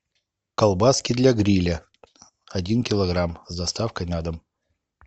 колбаски для гриля один килограмм с доставкой на дом